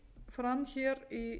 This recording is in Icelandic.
fram hér í